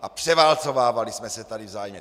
A převálcovávali jsme se tady vzájemně.